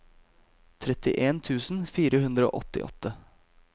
trettien tusen fire hundre og åttiåtte